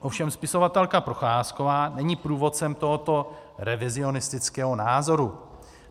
Ovšem spisovatelka Procházkovu není průvodcem tohoto revizionistického názoru.